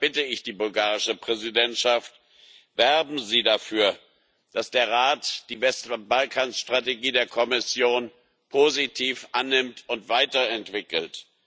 Und deshalb bitte ich die bulgarische Ratspräsidentschaft Werben Sie dafür, dass der Rat die Westbalkanstrategie der Kommission positiv annimmt und weiterentwickelt.